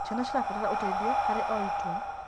Ciana cirabatara ũteithio harĩ o itua.